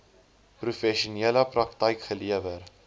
professionele praktyk gelewer